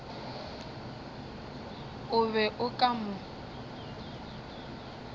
o be o ka mo